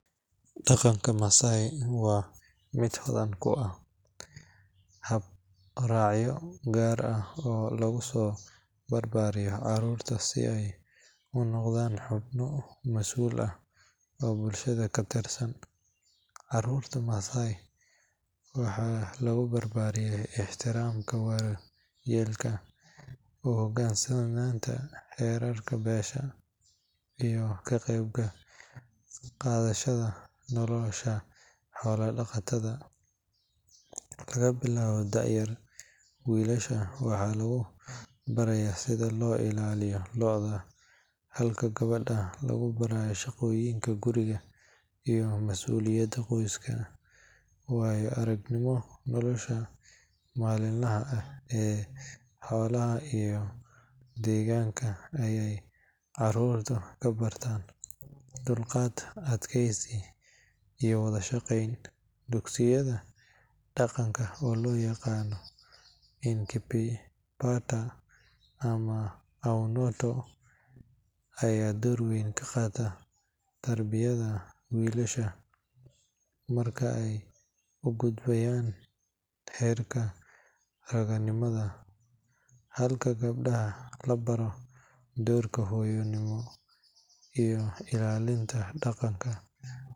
Dhaqanka Maasai waa mid hodan ku ah hab-raacyo gaar ah oo lagu soo barbaariyo carruurta si ay u noqdaan xubno masuul ah oo bulshada ka tirsan. Carruurta Maasai waxaa lagu barbaariyaa ixtiraamka waayeelka, u hoggaansanaanta xeerarka beesha iyo ka qayb qaadashada nolosha xoolo-dhaqatada. Laga bilaabo da'da yar, wiilasha waxaa lagu barayaa sida loo ilaaliyo lo’da, halka gabdhaha lagu baro shaqooyinka guriga iyo mas'uuliyadda qoyska. Waayo-aragnimada nolosha maalinlaha ah ee xoolaha iyo deegaanka ayey carruurtu ka bartaan dulqaad, adkeysi iyo wada shaqayn. Dugsiyada dhaqanka oo loo yaqaan Enkipaata ama Eunoto ayaa door weyn ka qaata tarbiyadda wiilasha marka ay u gudbayaan heerka raggannimada, halka gabdhaha la baro doorka hooyonimo iyo ilaalinta dhaqanka.